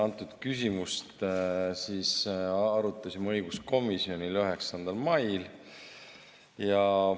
Antud küsimust arutasime õiguskomisjonis 9. mail.